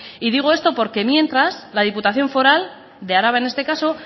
y digo esto porque mientras la diputación foral de araba en este caso